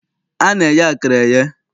A na-eye akara eye.